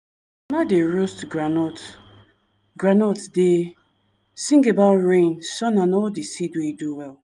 dey roast groundnut groundnut dey sing about rain sun and all the seed wey do well.